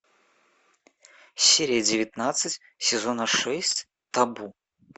серия девятнадцать сезона шесть табу